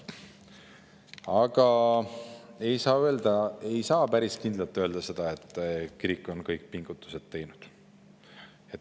Aga ei saa päris kindlalt öelda seda, et kirik on ise kõik pingutused teinud.